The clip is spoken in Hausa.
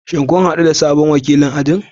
Shin kun hadu da sabon wakilin ajin?